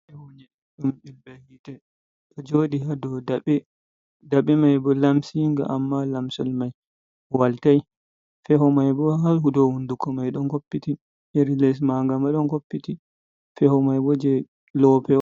Mlb htedo jodi hado dabbe mai bo lamsiga amma lamsol mai waltai feho mai bo halhudo hunduko mai don hoppiti iri les ma gam a don hoppiti feho mai bo je lowope,o